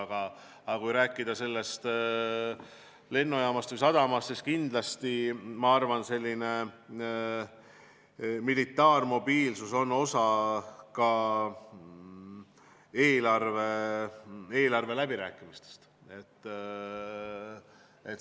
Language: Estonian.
Kuid kui rääkida lennujaamast või sadamast, siis kindlasti, ma arvan, militaarmobiilsus on osa eelarveläbirääkimistest.